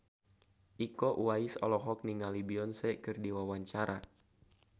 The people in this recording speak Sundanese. Iko Uwais olohok ningali Beyonce keur diwawancara